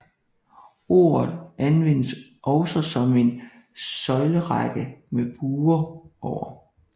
Ordet anvendes også om en søjlerække med buer over